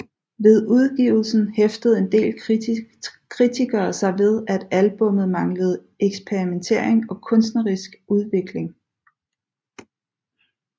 Ved udgivelsen hæftede en del kritikere sig ved at albummet manglede eksperimentering og kunstnerisk udvikling